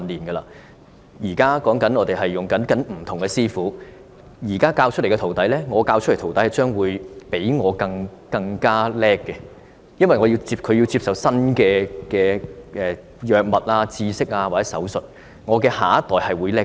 我們現在跟隨不同師傅學習，現在我教導出來的徒弟，將會比我更有本事，因為他要接觸新的藥物、知識或手術，我的下一代會比我更好。